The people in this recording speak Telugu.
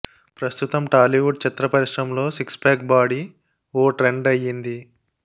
ప్రస్తుతం టాలీవుడ్ చిత్ర పరిశ్రమలో సిక్స్ ప్యాక్ బాడీ ఓ ట్రెండ్ అయ్యింది